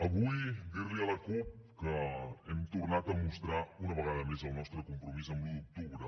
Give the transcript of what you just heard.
avui dir li a la cup que hem tornat a mostrar una vegada més el nostre compromís amb l’un d’octubre